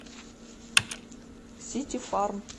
сити фарм